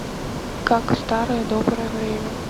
как в старое доброе время